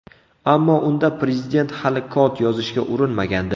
Ammo unda prezident hali kod yozishga urinmagandi.